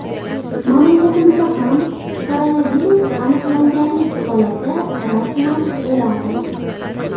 Mamlakatimizda ham koronavirus aniqlanganlik holati rasman e’lon qilindi.